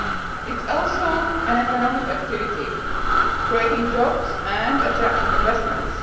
it is also an economic activity, creating jobs and attracting investments.